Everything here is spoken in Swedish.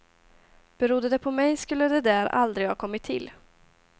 Berodde det på mig skulle det där aldrig ha kommit till.